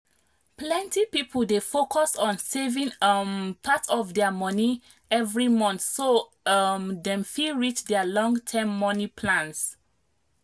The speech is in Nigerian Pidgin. plenty people dey focus on saving um part of their money every month so um dem fit reach their long-term money plans.